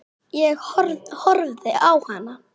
Ég horfði á hana.